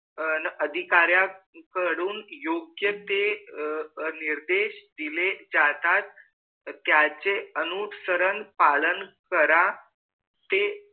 न अधिकार्या कडून योग्य ते निर्देश दिले जातात त्यांचे अनुसरण पालन करा ते